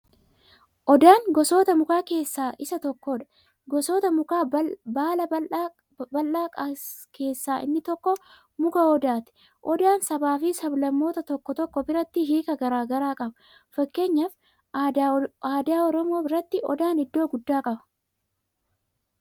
Odaan gosoota mukaa keessa isa tokkoodha. Gosoota mukaa baala babaldhaa keessa inni tokko muka odaati. Odaan sabaa fi sab-lammoota tokko tokko biratti hiika garaa garaa qaba. fakkeenyaaf aadaa oromoo biratti odaan iddoo gudda qaba.